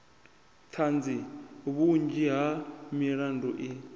ṱhanzi vhunzhi ha milandu i